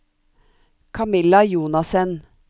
Camilla Jonassen